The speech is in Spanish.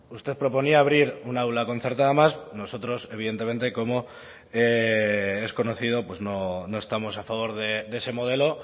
usted proponía abrir un aula concertada más nosotros evidentemente como es conocido no estamos a favor de ese modelo